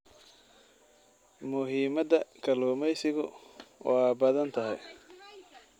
Muhiimadda kalluumaysigu waa badan tahay.